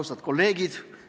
Austatud kolleegid!